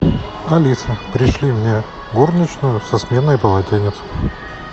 алиса пришли мне горничную со сменой полотенец